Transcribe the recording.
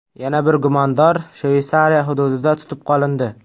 Yana bir gumondor Shveysariya hududida tutib qolindi.